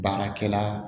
Baarakɛla